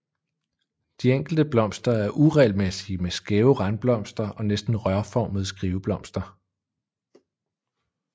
De enkelte blomster er uregelmæssige med skæve randblomster og næsten rørformede skiveblomster